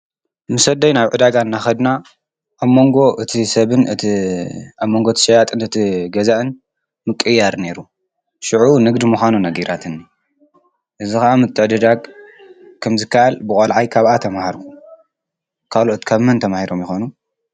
ምስ ኣደይ ናብ ዕዳጋ እናኸድና ኣብ መንጎ እቲ ሰብን እቲ ኣብ መንጎ ት ሸያጥን እቲ ገዛእን ምቕያር ነይሩ፡፡ ሽዑ ንግዲ ምዃኑ ነጊራትኒ፡፡ እዚ ኸዓ ምትዕድዳግ ከምዝ ካኣል ብቆልዓይ ካብኣ ተማሃርኩ ካልኦት ካብ መን ተማሂሮም ይኾኑ?